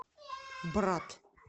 брат